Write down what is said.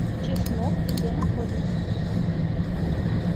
чеснок где находится